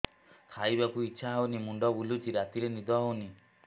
ଖାଇବାକୁ ଇଛା ହଉନି ମୁଣ୍ଡ ବୁଲୁଚି ରାତିରେ ନିଦ ହଉନି